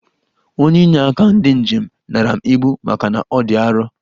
Onye ịnye aka ndi njem nara m ibu maka na ọ dị arọ.